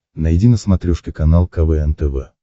найди на смотрешке канал квн тв